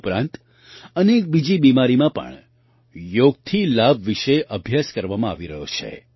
તે ઉપરાંત અનેક બીજી બીમારીમાં પણ યોગથી લાભ વિશે અભ્યાસ કરવામાં આવી રહ્યો છે